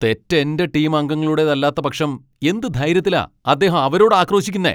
തെറ്റ് എന്റെ ടീം അംഗങ്ങളുടേതല്ലാത്ത പക്ഷം എന്ത് ധൈര്യത്തിലാ അദ്ദേഹം അവരോട് ആക്രോശിക്കുന്നെ?